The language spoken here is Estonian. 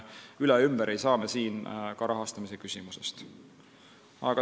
Üle ega ümber ei saa me rahastamise küsimusest.